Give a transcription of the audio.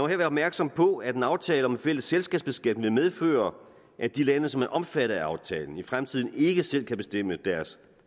her være opmærksom på at en aftale om en fælles selskabsskat vil medføre at de lande som er omfattet af aftalen i fremtiden ikke selv kan bestemme deres